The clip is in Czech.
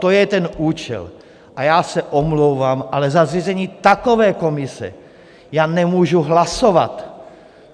To je ten účel a já se omlouvám, ale za zřízení takové komise já nemůžu hlasovat.